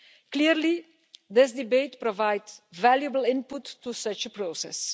Clearly this debate provides valuable input to such a process.